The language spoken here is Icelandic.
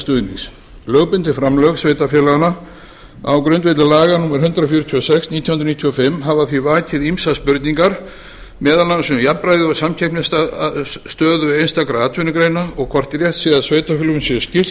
stuðnings lögbundin framlög sveitarfélaganna á grundvelli laga númer hundrað fjörutíu og sex nítján hundruð níutíu og fimm hafa því vakið ýmsar spurningar meðal annars um jafnræði og samkeppnisstöðu einstakra atvinnugreina og hvort rétt sé að sveitarfélögum sé skylt